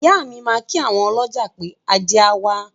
Ìyá mi máa kí àwon ọlọ́jà pé, “ajé á wá”.